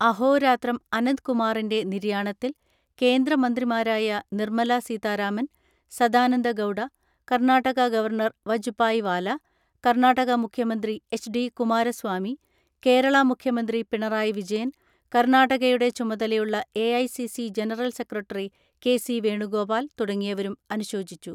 അഹോരാത്രം അനന്ത്കുമാറിന്റെ നിര്യാണത്തിൽ കേന്ദ്ര മന്ത്രിമാരായ നിർമല സീതാരാമൻ, സദാനന്ദ ഗൗഡ, കർണ്ണാടക ഗവർണർ വജുപായ് വാല, കർണ്ണാടക മുഖ്യമന്ത്രി H D Kumaraswamy, Kerala മുഖ്യ മന്ത്രി പിണറായി വിജയൻ, കർണ്ണാടകയുടെ ചുമതലയുളള A I C C general secretary K C Venugopal തുടങ്ങിയവരും അനുശോചിച്ചു.